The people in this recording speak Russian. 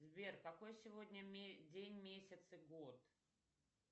сбер какой сегодня день месяц и год